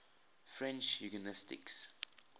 french eugenicists